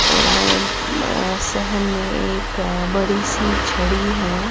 .اور ام م شہر مے ایک بڑی سی چھڑی ہیں